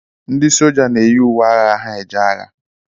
Ndị soja na-eyi uwe agha ha eje agha